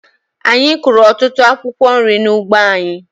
Anyị kụrụ otutụ akwụkwo nri n'ugbo anyị.